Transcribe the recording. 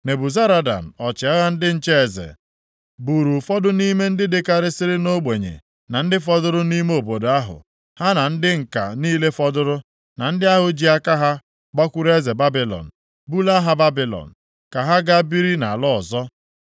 Nebuzaradan, ọchịagha ndị nche eze, buru ụfọdụ nʼime ndị dakarịsịrị nʼogbenye na ndị fọdụrụ nʼime obodo ahụ, ha na ndị ǹka niile fọdụrụ, na ndị ahụ ji aka ha gbakwuru eze Babilọn, bulaa ha Babilọn, ka ha ga biri nʼala ọzọ.